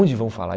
Onde vão falar?